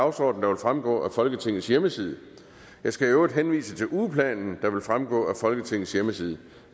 dagsorden der vil fremgå af folketingets hjemmeside jeg skal i øvrigt henvise til ugeplanen der vil fremgå af folketingets hjemmeside